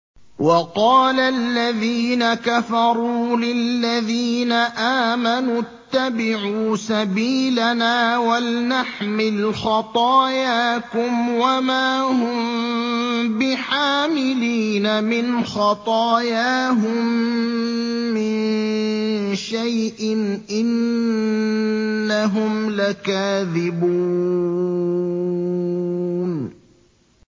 وَقَالَ الَّذِينَ كَفَرُوا لِلَّذِينَ آمَنُوا اتَّبِعُوا سَبِيلَنَا وَلْنَحْمِلْ خَطَايَاكُمْ وَمَا هُم بِحَامِلِينَ مِنْ خَطَايَاهُم مِّن شَيْءٍ ۖ إِنَّهُمْ لَكَاذِبُونَ